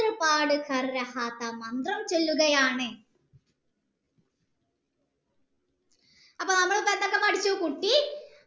മന്ത്രം ച്വല്ലുകയാണ് അപ്പൊ നമ്മൾ എന്തോക്കെ പഠിച്ചു കുട്ടി